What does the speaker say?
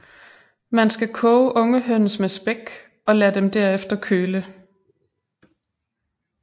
Man skal koge unge høns med spæk og lad dem derefter køle